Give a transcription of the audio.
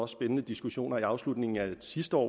spændende diskussioner i afslutningen af sidste år